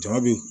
Ja be